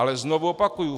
Ale znovu opakuji.